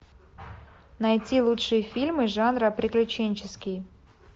найти лучшие фильмы жанра приключенческий